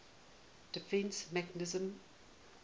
defence mechanism